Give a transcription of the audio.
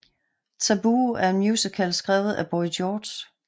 Taboo er en musical skrevet af Boy George